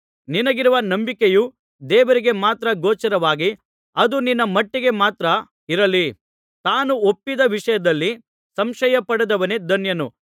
ನಿನಗಿರುವ ನಂಬಿಕೆಯು ದೇವರಿಗೆ ಮಾತ್ರ ಗೋಚರವಾಗಿ ಅದು ನಿನ್ನ ಮಟ್ಟಿಗೆ ಮಾತ್ರ ಇರಲಿ ತಾನು ಒಪ್ಪಿದ ವಿಷಯದಲ್ಲಿ ಸಂಶಯ ಪಡದವನೇ ಧನ್ಯನು